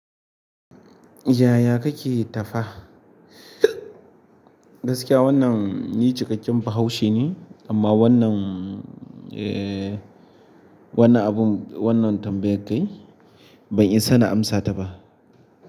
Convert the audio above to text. Yaya kake tafa? Gaskiya wannan ni cikakken. Bahaushe ne, amma wannan, eh, wannan abun, wannan tambayar kai ban isa na amsa ta ba.